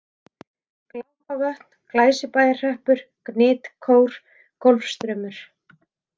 Glápavötn, Glæsibæjarhreppur, Gnitkór, Golfstraumur